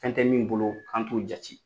Fɛn tɛ min bolo kan t'o jate